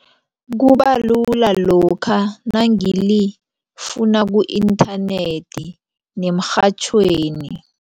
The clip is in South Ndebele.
Kubalula lokha nangilifuna ku-internet nemrhatjhweni.